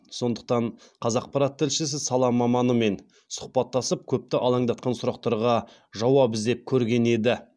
сондықтан қазақпарат тілшісі сала маманымен сұхбаттасып көпті алаңдатқан сұрақтарға жауап іздеп көрген еді